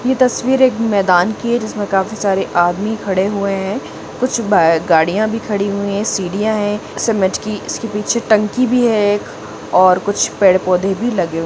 ये तस्वीर एक मैदान की है जिसमे काफी सारे आदमी खड़े हुए है कुछ ब गड्डिया भी ख़ड़ी हुई है सिडिया है समझ की इसके पीछे टंकी भी है एक और कुछ पेड़ पौधे भी लगे ---